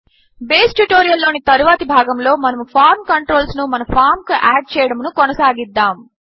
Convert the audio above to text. base tutorial లోని తరువాతి భాగములో మనము ఫార్మ్ కంట్రోల్స్ ను మన ఫామ్ కు యాడ్ చేయడమును కొనసాగిద్దాము